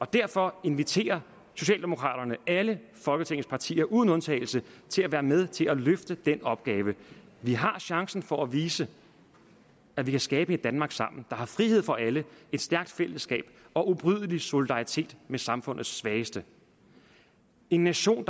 derfor inviterer socialdemokraterne alle folketingets partier uden undtagelse til at være med til at løfte den opgave vi har chancen for at vise at vi kan skabe et danmark sammen der har frihed for alle et stærkt fællesskab og ubrydelig solidaritet med samfundets svageste en nation